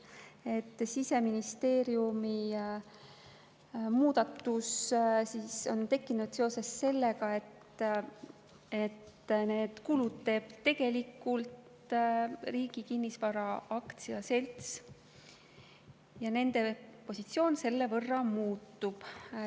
See Siseministeeriumi muudatus on tekkinud seoses sellega, et need kulud teeb tegelikult Riigi Kinnisvara AS ja nende positsioon selle võrra muutub.